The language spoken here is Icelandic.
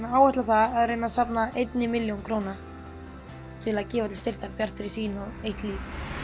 áætla það að reyna safna einni milljón króna til að gefa til styrktar Bjartri sýn og eitt líf